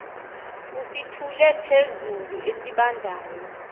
usithule phezulu esibandayo